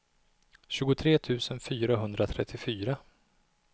tjugotre tusen fyrahundratrettiofyra